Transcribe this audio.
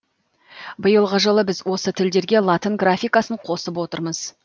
биылғы жылы біз осы тілдерге латын графикасын қосып отырмыз